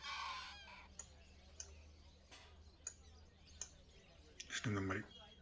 இந்த மாதிரி